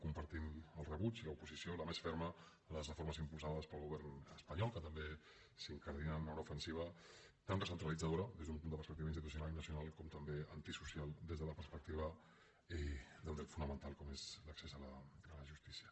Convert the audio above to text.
compartim el rebuig i l’oposició la més ferma a les reformes impulsades pel govern espanyol que també s’incardinen en una ofensiva tant recentralitzadora des d’una perspectiva institucional i nacional com també antisocial des de la perspectiva d’un dret fonamental com és l’accés a la justícia